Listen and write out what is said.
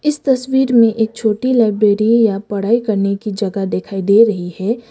इस तस्वीर में एक छोटी लाइब्रेरी या पढ़ाई करने की जगह दिखाई दे रही है।